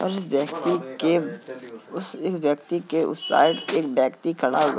उस व्यक्ति के उस व्यक्ति के उस साईड पे एक व्यक्ति खड़ा हुआ --